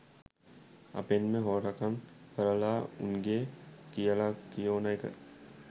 අපෙන්ම හොරකන් කරලා උන්ගේ කියල කියෝන එක